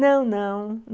Não, não.